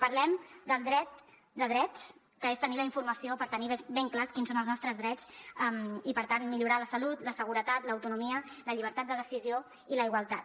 parlem del dret de drets que és tenir la informació per tenir ben clars quins són els nostres drets i per tant millorar la salut la seguretat l’autonomia la llibertat de decisió i la igualtat